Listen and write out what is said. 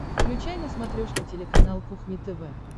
включай на смотрешке телеканал кухня тв